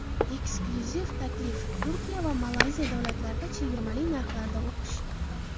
Eksklyuziv taklif: Turkiya va Malayziya davlatlarida chegirmali narxlarda o‘qish!.